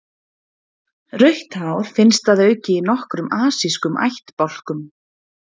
Rautt hár finnst að auki í nokkrum asískum ættbálkum.